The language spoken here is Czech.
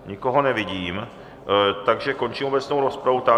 Nikoho nevidím, takže končím obecnou rozpravu.